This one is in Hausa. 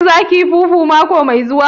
Shin za kiyi fufu mako mai zuwa?